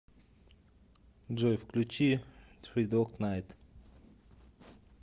джой включи три дог найт